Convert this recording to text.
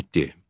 Yeddi.